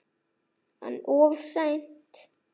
En of seint.